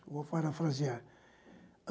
Vou parafrasear.